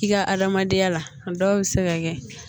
I ka adamadenya la a dɔw bɛ se ka kɛ